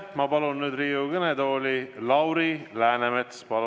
Ma palun nüüd Riigikogu kõnetooli Lauri Läänemetsa.